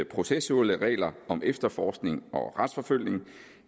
processuelle regler om efterforskning og retsforfølgning